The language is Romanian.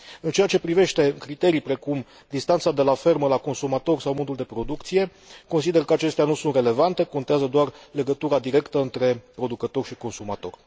În ceea ce privește criterii precum distanța de la fermă la consumator sau modul de producție, consider că acestea nu sunt relevante, contează doar legătura directă între producător și consumator.